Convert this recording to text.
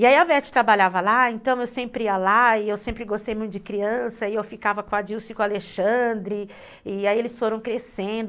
E aí a Vete trabalhava lá, então eu sempre ia lá e eu sempre gostei muito de criança, e eu ficava com a Dilce e com a Alexandre, e aí eles foram crescendo.